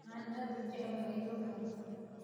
Waxaan aad ujeclahay dhuuxa lafta